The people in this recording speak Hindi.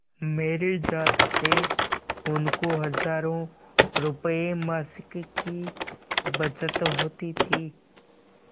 मेरी जात से उनको हजारों रुपयेमासिक की बचत होती थी